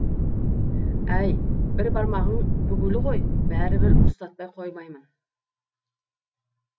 әй бір бармағың бүгулі ғой бәрібір ұстатпай қоймаймын